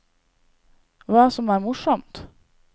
Hva som er morsomt?